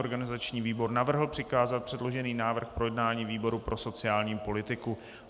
Organizační výbor navrhl přikázat předložený návrh k projednání výboru pro sociální politiku.